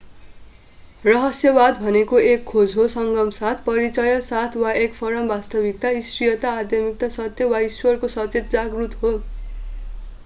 रहस्यवाद भनेको एक खोज हो संगम साथ परिचय साथ वा एक परम वास्तविकता ईश्वरीयता आध्यात्मिक सत्य वा ईश्वरको सचेत जागरूकत हो